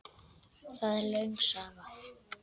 Það er löng saga.